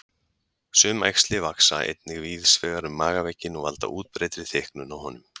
Sum æxli vaxa einnig víðs vegar um magavegginn og valda útbreiddri þykknun á honum.